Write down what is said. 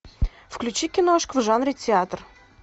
включи киношку в жанре театр